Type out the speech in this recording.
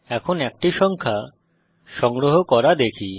এখন একটি সংখ্যা সংগ্রহ করা দেখি